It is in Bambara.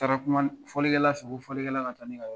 Taara kuma fɔlikɛla fɛ; ko fɔlikɛla ka taa ne ka yɔrɔ